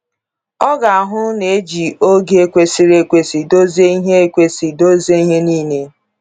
Ọ ga-ahụ na e ji oge kwesịrị ekwesị dozie ihe ekwesị dozie ihe niile.